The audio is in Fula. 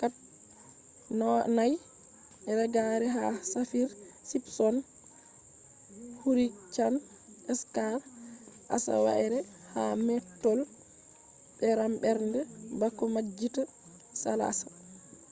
4 reggare ha saffir-simpson hurricane scale asawaire ha mettol beram bernde bako majjita salasa